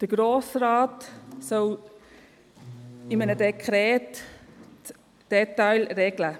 Der Grosse Rat soll in einem Dekret die Details regeln.